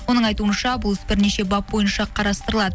оның айтуынша бұл іс бірнеше бап бойынша қарастырылады